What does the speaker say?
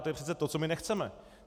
A to je přece to, co my nechceme.